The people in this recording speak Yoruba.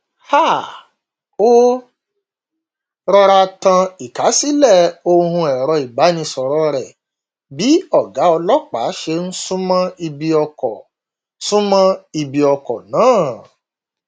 um ó rọra tan ìkásílẹ ohùn ẹrọ ìbánisọrọ rẹ bí ọgá ọlọpàá ṣe n súnmọ ibi ọkọ súnmọ ibi ọkọ náà